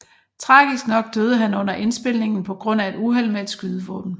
Tragisk nok døde han under indspilningen på grund af et uheld med et skydevåben